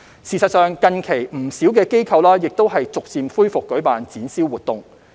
事實上，近期不少機構亦逐漸恢復舉辦展銷活動。